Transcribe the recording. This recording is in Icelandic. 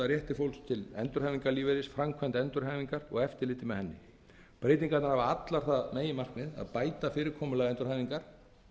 rétti fólks til endurhæfingarlífeyris framkvæmd endurhæfingar og eftirliti með henni breytingarnar hafa allar það meginmarkmið að bæta fyrirkomulag endurhæfingar